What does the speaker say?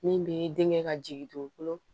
Min bɛ denkɛ ka jiginkolo